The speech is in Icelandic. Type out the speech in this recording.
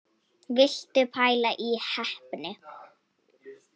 Viltu pæla í heppni!